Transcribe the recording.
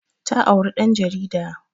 Ta auri ɗan jarida